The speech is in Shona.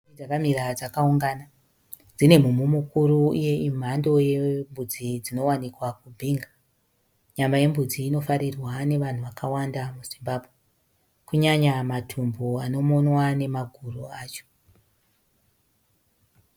Mbudzi dzakamira dzakaungana dzine mumhu mukuru uye imhando yembudzi dzinowanikwa kuBinga. Nyama yembudzi inofarirwa nevanhu vakawanda muZimbabwe, kunyanya matumbu anomonwa nemaguru acho.